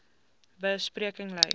be spreking lei